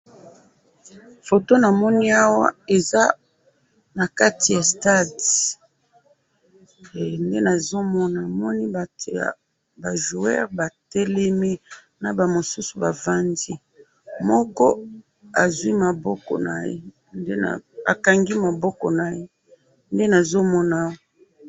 Foto namoni awa eza nakati ya stade, namoni ba joueurs batelemi, bamisusu bavandi, moko azwi maboko naye, akangi maboko naye, nde nzomona awa